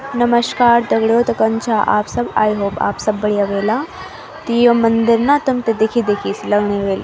नमश्कार दगडियों तो कन छा आप सब आई होप आप सब बढ़िया वेला त यो मंदिर न तुम्थे दिखी दिखी सी लगनु वेल।